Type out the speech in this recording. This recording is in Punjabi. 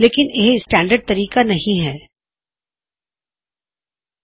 ਜਿਵੇਂ ਵੀ ਇਹ ਇੱਕ ਆਦਰਸ਼ ਤਰੀਕਾ ਨਹੀ ਹੈ ਜਿਸ ਵਿੱਚ ਕੌਨਟੈੱਕਟ ਕੋਡਿੰਗ ਨੂੰ ਪਛਾਣੇ